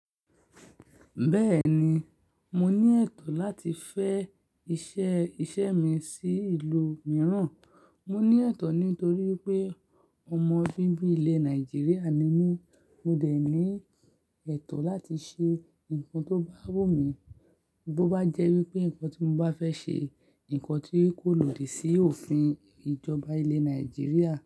Bẹ́ẹ̀ni, mo ní ẹ̀tọ́ láti fẹ́ iṣẹ́, iṣẹ́ mi sí ìlú mìíràn. Mo ní ẹ̀tọ́ nítorí pé ọmọ bíbí ilẹ̀ Nàìjíríà ni mí, mo dẹ̀ ní ẹ̀tọ́ láti ṣe nǹkan tó bá wù mí. Bo bá jẹ́ wípé ǹkan tí mo bá fẹ́ ṣe, ǹkan tí kò lòdì sí òfin ìjọba ilẹ̀ Nàìjíríà.